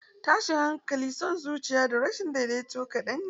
Tashin hankali, son zuciya, da rashin daidaito kadan ne.